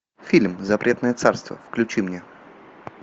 фильм запретное царство включи мне